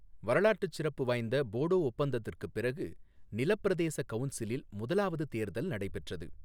வரலாற்றுச் சிறப்பு வாய்ந்த போடோஒப்பந்தத்திற்குப் பிறகு, நில பிரதேச கவுன்சிலில் முதலாவது தேர்தல் நடைபெற்றது.